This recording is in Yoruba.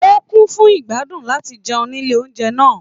O kún fún igbadun láti jẹun nílé oúnjẹ náà.